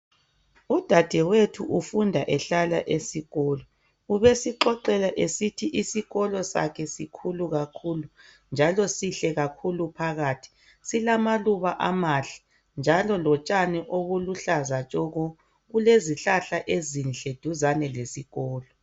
Udadewethu ufunda ehlala esikolo. Ubesixoxela esithi isikolo sakhe sikhulu kakhulu njalo sihle kakhulu phakathi. Silamaluba amahle njalo lotshani obuluhlaza tshoko. Kulezihlahla ezinhle duzane lesikolo.